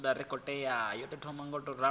na ndaela yo tou ṅwaliwaho